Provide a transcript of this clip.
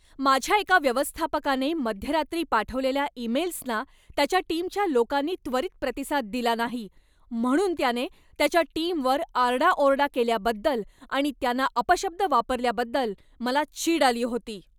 माझ्या एका व्यवस्थापकाने मध्यरात्री पाठवलेल्या ईमेल्सना त्याच्या टीमच्या लोकांनी त्वरित प्रतिसाद दिला नाही म्हणून त्याने त्याच्या टीमवर आरडाओरडा केल्याबद्दल आणि त्यांना अपशब्द वापरल्याबद्दल मला चीड आली होती.